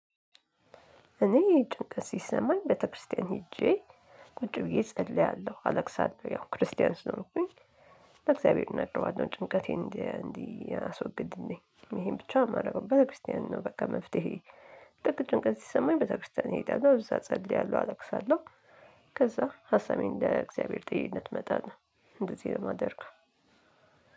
እኔ ጭንቀት ሲሰማኝ ቤተክርስቲያን ሄጄ ቁጭ ብዬ እጸልያለሁ አለቅሳለሁ። ያው ክርስቲያን ስለሆንኩኝ ለእግዚአብሔር እነግርዋለን ጭንቀቴን እንዲያስወግድልኝ እንዴ ይሄን ብቻ የማደርገው ቤተክርስቲያን ነው። በቃ መፍትሄዬ ጥልቅ ጭንቀት ሲሰማኝ ቤተክርስቲያን እሄዳለሁ እዛ እጸልያለሁ አለቅሳለሁ። ከዛ ሀሳቤን ለእግዚአብሔር ጥየለት እመጣለሁ እንደዚህ ነው የማደርገው።